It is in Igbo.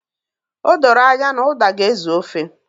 O doro anya na uda ga-ezu ofe